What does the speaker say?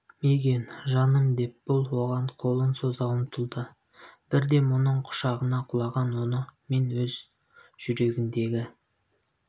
мигэн жаным деп бұл оған қолын соза ұмтылды бірден бұның құшағына құлаған оны мен өз жүрегіндегі